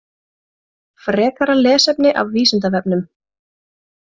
Frekara lesefni af Vísindavefnum: